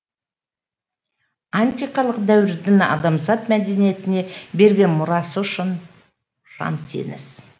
антикалық дәуірдің адамзат мәдениетіне берген мұрасы ұшан теңіз